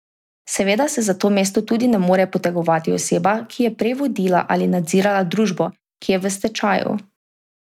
Seveda se za to mesto tudi ne more potegovati oseba, ki je prej vodila ali nadzirala družbo, ki je v stečaju.